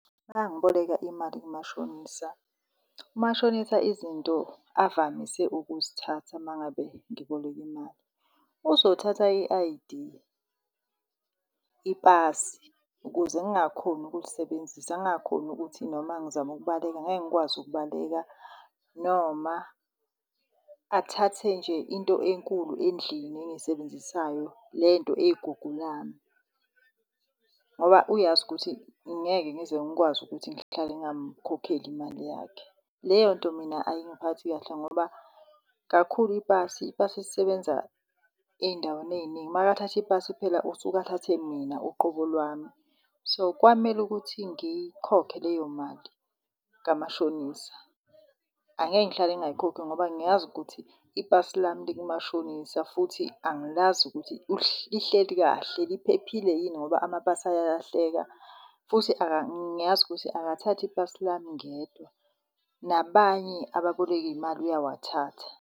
Mangiboleka imali kumashonisa, umashonisa izinto avamise ukuzithatha mangabe ngiboleka imali uzothatha i-I_D, ipasi ukuze ngingakhoni ukulisebenzisa. Ngingakhoni ukuthi noma ngizama ukubaleka, ngeke ngikwazi ukubaleka, noma athathe nje into enkulu endlini engiyisebenzisayo le nto eyigugu lami. Ngoba uyazi ukuthi ngeke ngize ngikwazi ukuthi ngihlale ngamkhokheli imali yakhe. Leyo nto mina ayingiphathi kahle ngoba kakhulu ipasi ipasi lisebenza ey'ndaweni eyiningi, makathatha ipasi phela usuke athathe mina uqobo lwami. So, kwamele ukuthi ngiyikhokhe leyo mali kamashonisa. Angeke ngihlale ngingayikhokhi ngoba ngiyazi ukuthi ipasi lami likumashonisa futhi angilazi ukuthi lihleli kahle, liphephile yini ngoba amapasi ayalahleka. Futhi ngiyazi ukuthi akathathi ipasi lami ngedwa, nabanye ababoleka iy'mali uyawathatha.